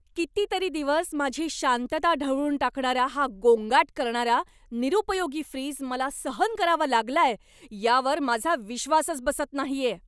कितीतरी दिवस माझी शांतता ढवळून टाकणारा हा गोंगाट करणारा, निरुपयोगी फ्रिज मला सहन करावा लागलाय यावर माझा विश्वासच बसत नाहीये!